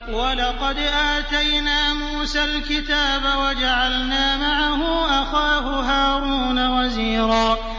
وَلَقَدْ آتَيْنَا مُوسَى الْكِتَابَ وَجَعَلْنَا مَعَهُ أَخَاهُ هَارُونَ وَزِيرًا